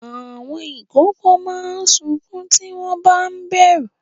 Àwọn ìkókó máa ń sunkún tí wọ́n ba ń bẹ̀rù.